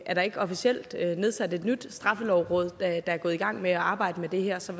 er der ikke officielt nedsat et nyt straffelovråd der er gået i gang med at arbejde med det her så